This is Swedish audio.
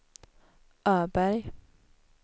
Öberg